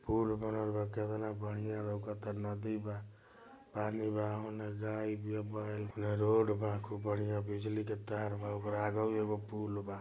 फूल बनल बा। केतना बढ़िया लौकता। नदी बा पानी बा होने गाय बीया बैल हेने रोड बा खुब बढ़िया बिजली के तार बा। ओकरा आगहु एगो पुल बा।